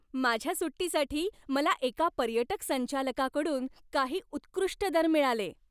माझ्या सुट्टीसाठी मला एका पर्यटक संचालकाकडून काही उत्कृष्ट दर मिळाले.